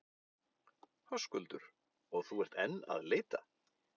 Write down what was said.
Höskuldur: Og þú ert enn að leita?